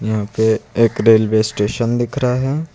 यहां पे एक रेलवे स्टेशन दिख रहा है।